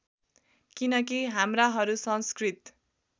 किनकि हाम्राहरू संस्कृत